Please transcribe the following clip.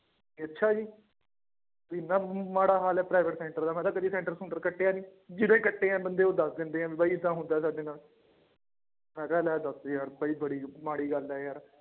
ਅੱਛਾ ਜੀ ਇੰਨਾ ਮਾੜਾ ਹਾਲ ਹੈ private center ਦਾ ਮੈਂ ਕਿਹਾ center ਸੂੰਟਰ ਕੱਟਿਆ ਨੀ, ਜਿਹੜੇ ਕੱਟੇ ਆ ਬੰਦੇ ਉਹ ਦੱਸ ਦਿੰਦੇ ਹੈ ਵੀ ਬਾਈ ਏਦਾਂ ਹੁੰਦਾ ਸਾਡੇ ਨਾਲ ਮੈਂ ਕਿਹਾ ਲੈ ਦੱਸ ਯਾਰ ਬਾਈ ਬੜੀ ਮਾੜੀ ਗੱਲ ਹੈ ਯਾਰ।